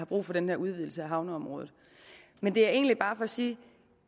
brug for den her udvidelse af havneområdet men det er egentlig bare for at sige at